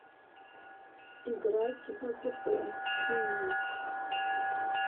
играть в апп пример